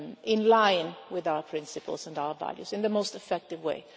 in line with our principles and our values in the most effective way.